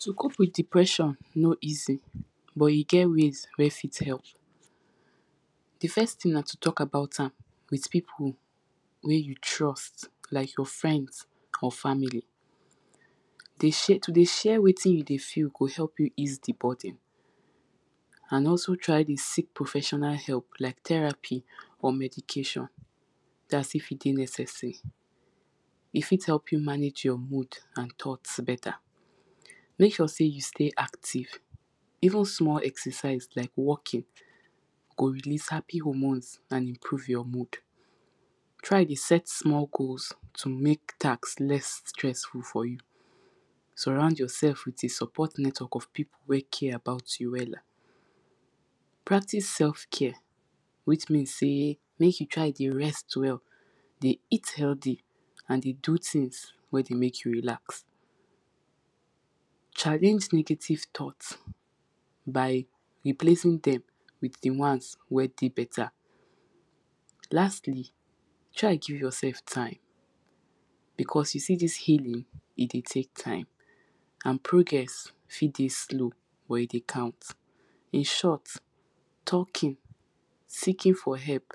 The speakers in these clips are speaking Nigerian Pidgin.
to cope with depression no easi but e get ways wey fit help de first thing na to talk about am with people wey you trust like your friends or family um to dey share wetin you de feel go help you ease de burden and also try to seek professional help like terapi or medikation dat is if e dey necesari e fit help you manage your mood and thought beta make sure sey you stay active even small ecercise like walking go release happy homones and increase your mood try de set small goals make task less stressful for you surround your self with a support network of people wey care about you practice sef care which means sey make you try dey rest well dey eat healthy and dey do things wey go make you relax challenge negative thought by replacing dem with de ones wey de beta lastly try give yourself time because you see dis healing e dey take time and progress fit dey slow but e de count in shot talking seeking for help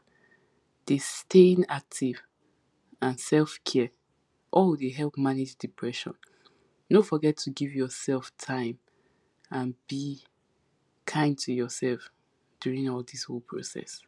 de staying active and sef care oh dey help manage depression dont forget to give yourself time and and kind to yourself during all dis whole process